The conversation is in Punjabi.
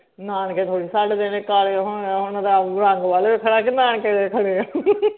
ਨਾਨਕੇ ਥੋੜੀ ਛੱਡ ਦੇਣੇ ਕਾਲੇ ਹੋਣ ਨਾਲ ਰੰਗ ਵੱਲ ਵੇਖਣਾ ਕਿ ਨਾਨਕੇ ਵੇਖਣੇ ਆ